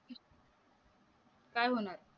काय होणार